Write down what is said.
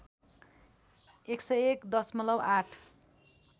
१०१ दशमलब ८